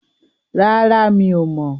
Rárá, mi ò mọ̀.